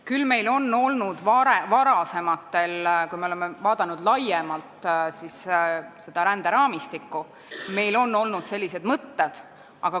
Küll on meil selliseid mõtteid olnud varasematel aegadel, kui me oleme seda ränderaamistikku laiemalt vaadanud.